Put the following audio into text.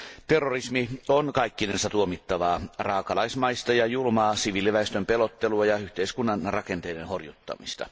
Terrorismi on kaikkinensa tuomittavaa raakalaismaista ja julmaa siviiliväestön pelottelua ja yhteiskunnan rakenteiden horjuttamista.